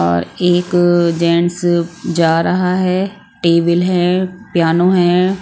और एक अअ जेंट्स जा रहा है टेबल है प्यानो है।